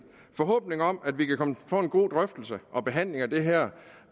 forhåbning om at vi kan få en god drøftelse og behandling af det her